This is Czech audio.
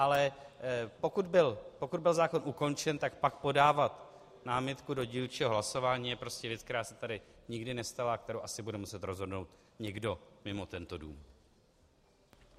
Ale pokud byl zákon ukončen, tak pak podávat námitku do dílčího hlasování je prostě věc, která se tady nikdy nestala a kterou asi bude muset rozhodnout někdo mimo tento dům.